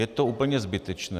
Je to úplně zbytečné.